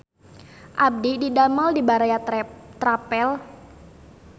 Abdi didamel di Baraya Travel